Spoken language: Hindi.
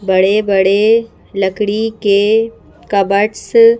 बड़े-बड़े लकड़ी के कबर्ड्स --